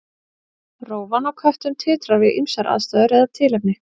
Rófan á köttum titrar við ýmsar aðstæður eða tilefni.